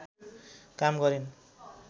काम गरिन्।